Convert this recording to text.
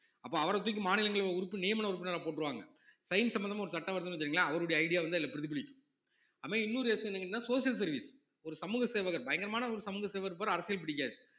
அப்ப அவரை தூக்கி மாநிலங்களவை உறுப்பி~ நியமன உறுப்பினரா போட்டுருவாங்க science சம்பந்தமா ஒரு சட்டம் வருதுன்னு வச்சுக்கங்களேன் அவருடைய idea வந்து அதுல பிரதிபலிக்கும் அவன் இன்னொரு விஷயம் என்னன்னா social service ஒரு சமூக சேவகர் பயங்கரமான ஒரு சமூக சேவகர் இருப்பார் அரசியல் பிடிக்காது